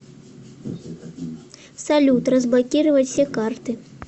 салют разблокировать все карты